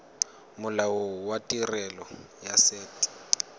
molao wa tirelo ya set